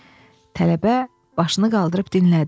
Tələbə başını qaldırıb dinlədi.